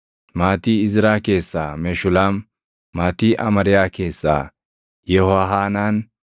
maatii Izraa keessaa Meshulaam; maatii Amariyaa keessaa Yehohaanaan;